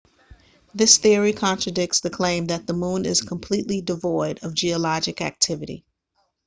this theory contradicts the claim that the moon is completely devoid of geologic activity